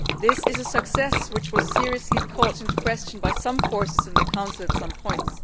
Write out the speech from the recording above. This is a success which was seriously called into question by some forces in the Council at some points.